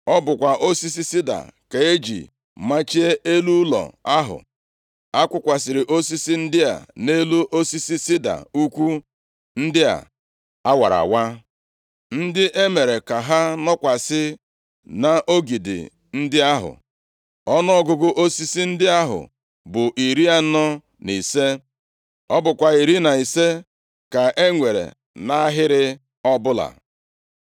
Ọ bụkwa osisi sida ka e ji machie elu ụlọ ahụ. A kụkwasịrị osisi ndị a nʼelu osisi sida ukwu ndị a a wara awa, ndị e mere ka ha nọkwasị nʼogidi ndị ahụ. Ọnụọgụgụ osisi ndị ahụ bụ iri anọ na ise. Ọ bụkwa iri na ise ka e nwere nʼahịrị ọbụla.